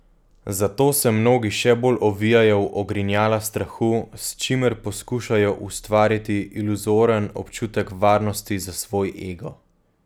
Zato se mnogi še bolj ovijajo v ogrinjala strahu, s čimer poskušajo ustvariti iluzoren občutek varnosti za svoj ego.